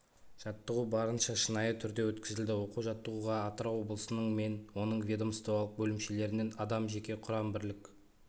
жаттығу барынша шынайы түрде өткізілді оқу-жаттығуға атырау облысының мен оның ведомстволық бөлімшелерінен адам жеке құрам бірлік